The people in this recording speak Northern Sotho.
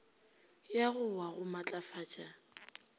ya go wa go matlafatša